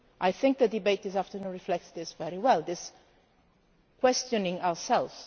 I think the debate this afternoon reflects this very well this questioning ourselves.